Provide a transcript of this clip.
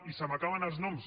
i se m’acaben els noms